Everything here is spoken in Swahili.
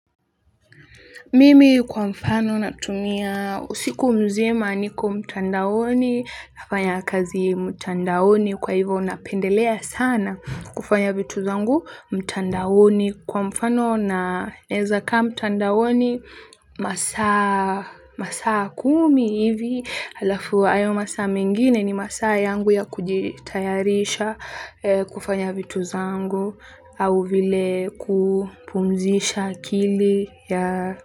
Mimi kwa mfano natumia usiku mzima niko mtandaoni, nafanya kazi mtandaoni kwa hivo napendelea sana kufanya vitu zangu mtandaoni. Kwa mfano naeza kaa mtandaoni masaa kumi hivi alafu hayo masaa mengine ni masaa yangu ya kujitayarisha kufanya vitu zangu au vile kupumzisha akili.